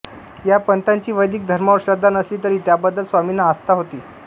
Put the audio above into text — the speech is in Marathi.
या पंथांची वैदिक धर्मावर श्रद्धा नसली तरी त्याबद्दल स्वामींना आस्था होती